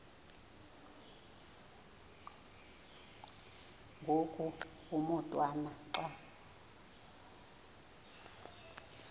ngoku umotwana xa